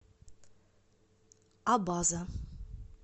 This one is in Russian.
абаза